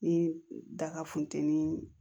Ni daga funteni